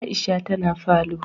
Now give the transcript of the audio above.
Aisha ta na falo